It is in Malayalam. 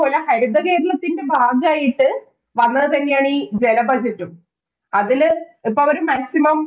ഹരിതകേരളത്തിന്‍റെ ഭാഗമായിട്ട് വന്നത് തന്നെയാണ് ഈ ജല budget ഉം. അതില് അപ്പൊ അവര് maximum